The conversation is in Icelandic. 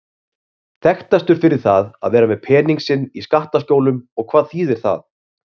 Þekktastur fyrir það að vera með pening sinn í skattaskjólum og hvað þýðir það?